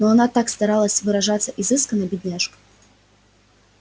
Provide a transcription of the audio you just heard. но она так старалась выражаться изысканно бедняжка